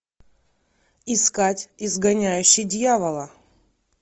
искать изгоняющий дьявола